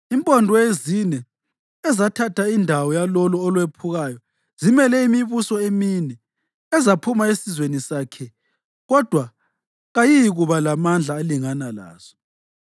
Impondo ezine ezathatha indawo yalolo olwephukayo zimele imibuso emine ezaphuma esizweni sakhe kodwa kayiyikuba lamandla alingana lawaso.”